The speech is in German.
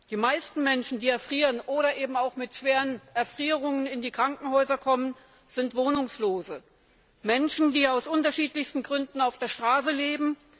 Die meisten Menschen, die erfrieren oder eben auch mit schweren Erfrierungen in die Krankenhäuser kommen, sind Wohnungslose, Menschen, die aus unterschiedlichsten Gründen auf der Straße leben.